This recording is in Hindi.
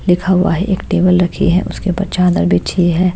लिखा हुआ है एक टेबल रखी है उसके ऊपर चादर बिछी है।